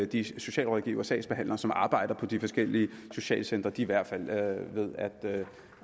de socialrådgivere og sagsbehandlere som arbejder på de forskellige socialcentre i hvert fald ved at der